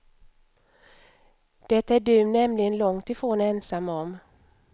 Det är du nämligen långt ifrån ensam om.